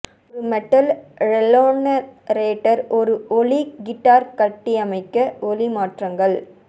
ஒரு metal resonator ஒரு ஒலி கிட்டார் கட்டியமைக்க ஒலி மாற்றங்கள்